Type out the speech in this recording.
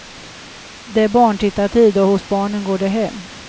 Det är barntittartid, och hos barnen går det hem.